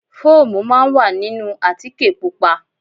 Fóòmù máa ń wà nínú àtíkè Pupa.